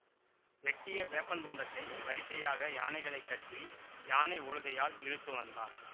வெட்டிய வேப்பந் துண்டத்தை வரிசையாக யானைகளைக் கட்டி யானை ஒழுகையால் இழுத்துவந்தான்